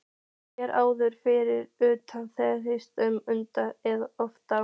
Hér áður fyrr urðu þeir ýmist undir eða ofan á.